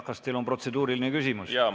Kas teil endal on protseduuriline küsimus?